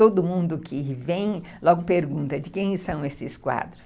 Todo mundo que vem logo pergunta de quem são esses quadros.